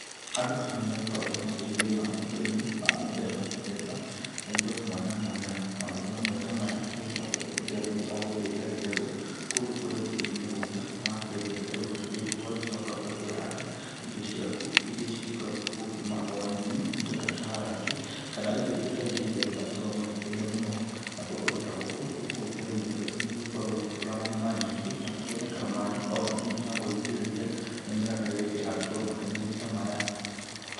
Andũ nĩ magĩkoragwo magĩkĩrĩma ũrĩmi wa mĩthemba mĩthemba na indo mwanya mwanya. Maũrĩmi mamwe ta maya agĩkoragwo arĩ rĩria mũndũ agũkĩenja gĩtegũ kũndũ kũrĩa gũkĩrĩ mĩgũnda, na wakĩenja gĩtegũ ta kĩu ũgagĩcoka ũgakĩhanda indo ciaku iria cigĩkoragwo gũkiuma onyeni indo ta karati kana indo ingĩ ta icio iria andũ magĩkoragwo makĩrĩa mũno. Nakuo kũndũ ta gũkũ gũkoragwo gũkĩrĩmwo ũrĩmi ũyũ tondũ gũtikoragwo na maaĩ maingĩ na gũkĩoneka maaĩ manini omagũgĩitĩrĩria mĩmera ta çĩrĩa ĩkĩhandĩtwo mategũ-inĩ ta maya.